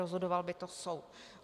Rozhodoval by to soud.